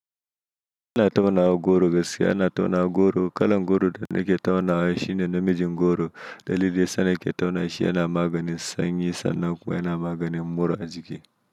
Ina taunawa goro gaskiya ina taunawa goro. Kalan goro da nake taunawa shi ne namijin goro. Dalili da yasa nake tauna shi yana maganin sanyi sannan kuma yana maganin mura a jiki.